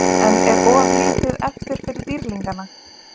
En er of lítið eftir fyrir Dýrlingana?